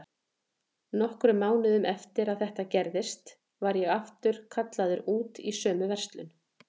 Nokkrum mánuðum eftir að þetta gerðist var ég aftur kallaður út í sömu verslun.